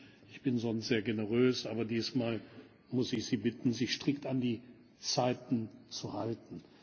Sie wissen, ich bin sonst sehr generös, aber dieses Mal muss ich Sie bitten, sich strikt an die Zeiten zu halten.